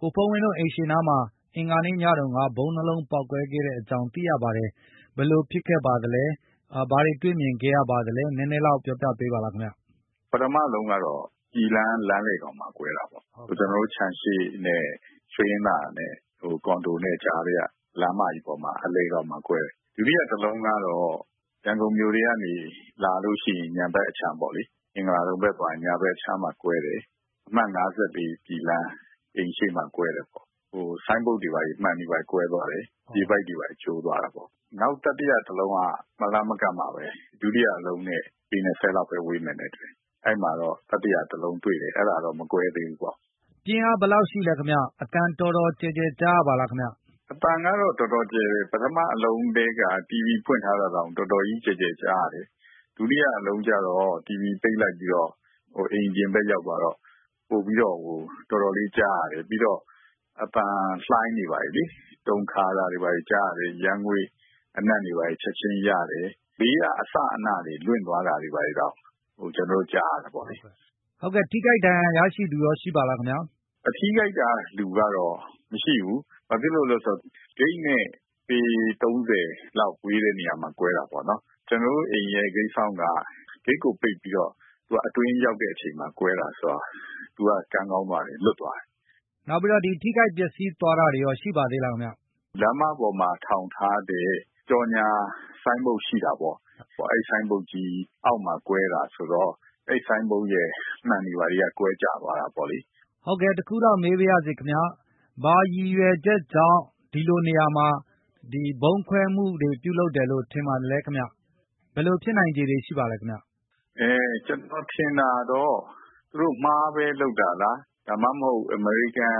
ကိုဘုန်းဝင်းတို့ အိမ်ရှေ့နားမှာ အင်္ဂါနေ့ညတုန်းက ဗုံး ၂ လုံးပေါက် ကွဲခဲ့ကြောင်းသိရပါတယ်။ ဘယ်လိုဖြစ်ခဲ့ပါသလဲ ဘာတွေတွေ့မြင်ခဲ့ပါသလဲ နည်းနည်းပြောပြ ပေးပါလားခင်ဗျ။ ပထမအလုံးကတော့ ပြည်လမ်းလမ်းလည်ခေါင်မှာ ကွဲတာပေါ့။ ကျနော်တို့ခြံရှေ့နဲ့ ရွှေင်္ဟာနဲ့ကွန်ဒိုနဲ့ကြားထဲက လမ်းမကြီးပေါ်မှာ အလယ်ခေါင်မှာ ကွဲတယ်။ ဒုတိယတလုံးကတော့ ရန်ကုန်မြို့ထဲကနေ လာလို့ရှိရင် ညာဖက်အခြမ်းပေါ့လေ၊ မင်္ဂလာဒုံဘက်သွားရင် ညာဖက်အခြမ်းမှာ ကွဲတယ်။ အမှတ် ၅၄ ပြည်လမ်း အိမ်ရှေ့မှာ ကွဲတယ်ပေါ့၊ ဟိုဆိုင်းဘုတ်တွေ ဘာတွေမှန်တွေဘာတွေ ကွဲသွားတယ်၊ ရေပိုက်တွေဘာတွေ ကျိုးသွားတယ်ပေါ့။ နောက်တတိယတလုံးက မလှမ်းမကမ်းမှာပဲ ဒုတိယတလုံးနဲ့ ပေ ၂၀ လောက်ဘဲဝေးမယ်နဲ့ တူတယ်၊ အဲဒိမှာတော့ တတိယတလုံ တွေ့တယ်၊ အဲဒါတော့ မကွဲသေးဘူးပေါ့။ ပြင်းအားဘယ်လောက်ရှိလဲခင်ဗျာ။ အသံ အတော်တော်ကျယ်ကျယ် ကြားရပါလာခင်ဗျ။ အသံကတော့ တော်တော်ကျယ်တယ်။ ပထမအလုံးထဲက တီဗွီဖွင့်ထားတာ တောင်တော်တော်ကြီး ကျယ်ကျယ်ကြားရတယ်။ ဒုတိယတလုံးကျတော့ တီဗွီပိတ်လိုက်ပြီးတော့ ဟိုအိမ်အပြင်ဘက် ရောက်သွားတော့ပိုပြီးတော့ဟို တော်တော်လေး ကြားရတယ်၊ ပြီးတော့ အသံလှိုင်းတွေဘာတွေလေ၊ တုန်ခါတာတွေဘာတွေ ကြားရတယ်၊ ယမ်းငွေ့အနံတွေ ဘာတွေချက်ခြင်း ရတယ်။ ဘေးကအစအနတွေဘာတွေ လွင့်သွားတာတောင် ကျနော်တို့ ကြားရတယ်ပေါ့လေ။ ထိခိုက်ဒါဏ်ရာရရှိသူရော ရှိပါလားခင်ဗျာ။ ဟို ထိခိုက်တာ လူကတော့မရှိဘူး။ ဘာဖြစ်လို့လဲဆိုတော့ ဂိတ်နဲ့ပေ ၃၀ လောက်ဝေးတဲ့နေရာမှာ ကွဲတာပေါ့နော်။ ကျနော်တို့ အိမ်ရဲ့ဂိတ်စောင့်က ဂိတ်ကိုပိတ်ပြီးတော့ သူကအတွင်းရောက်တဲ့အချိန်မှာ ကွဲတာဆိုတော့ သူကကံကောင်းသွားတယ် လွတ်သွားတယ်။ နောက်ပြီးတော့ ဒီ ထိခိုက်ပျက်စီးသွားတာတွေရော ရှိပါလားခင်ဗျာ။ လမ်းမပေါ်မှာထောင်ထားတဲ့ကြော်ငြာ ဆိုင်းဘုတ်ရှိတာပေါ့၊ အဲဒိဆိုင်းဘုတ် ကြီးအောက်မှာ ကွဲတာဆိုတော့ အဲဒိဆိုင်းဘုတ်ရဲ့ မှန်တွေဘာတွေက ကွဲကျသွားတာပေါ့လေ။ ဟုတ်ကဲ့ တခုလောက် မေးပါရစေခင်ဗျ။ ဘာရည်ရွယ်ချက်ကြောင့် ဒီလိုနေရာမှာ ဗုံးခွဲမှုတွေ လုပ်တယ်လို့ ထင်ပါသလဲခင်ဗျာ။ ဘယ်လို ဖြစ်နိုင်ခြေတွေ ရှိပါသလဲ။ အဲ ကျနော်ထင်တာတော့ သူတို့မှားဘဲလုပ်တာလား။ ဒါမှမဟုတ် အမေရိကန်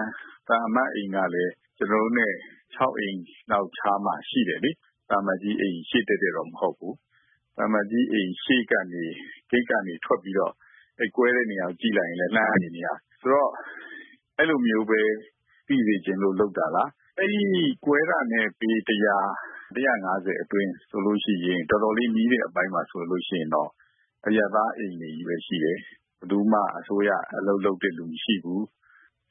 သံအမတ်အိမ်ကလည်း ကျနော်တို့နဲ့ ၆ အိမ်လောက်ခြားမှာ ရှိတယ်လေ။ သံအမတ်ကြီး အိမ်ရှေ့ တည့်တည့်တော့ မဟုတ်ဘူး။ သံအမှတ်ကြီး အိမ်ရှေ့ကနေ ဂိတ်ကနေထွက်ပြီးတော့ အဲဒိကွဲတဲ့နေရာကို ကြည့်လိုက်ရင် လှမ်းပြီးတော့ မြင်ရတယ်။ ဆိုတော့ အဲလိုမျိုးပဲ သိစေ့ချင်လို့ လုပ်တာလား၊ အဲဒိကွဲတာနဲ့ပေ တရာ၊ တရာ့ငါးဆယ်အတွင်း ဆိုလို့ရှိရင် တော်တော်လေးနီးတဲ့ အပိုင်းမှာဆိုလို့ရှိရင်တော့ အရပ်သားအိမ်တွေကြီးပဲ ရှိတယ်။ ဘယ်သူမှ အစိုးရအလုပ်လုပ်တဲ့ လူမရှိဘူး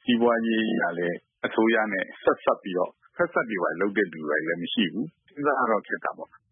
စီးပွားရေးအရလည်း အစိုးရနဲ့ဆက်စပ်ပြီးတော့ ဖက်စပ်တွေဘာတွေလုပ်တဲ့ လူတွေဘာတွေလည်း မရှိဘူး စဉ်းစားရတော့ ခက်တာပေါ့။